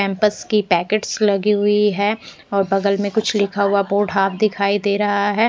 Pampers की packets लगी हुई है और बगल में कुछ लिखा हुआ बोर्ड हॉफ दिखाई दे रहा है।